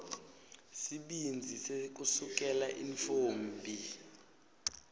sibindzi sekusukela intfombi